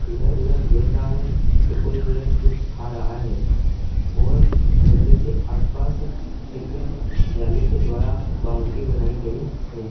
इधर उधर देख रहा है तो कोई हिरन कुछ खा रहा है और जंगल के आस पास एक जाली के द्वारा बाउंड्री बनाई गयी है।